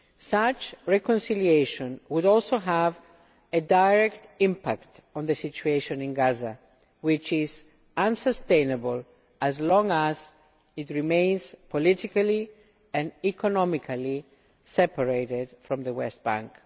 Such reconciliation would also have a direct impact on the situation in Gaza, which is unsustainable as long as it remains politically and economically separated from the West Bank.